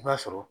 I b'a sɔrɔ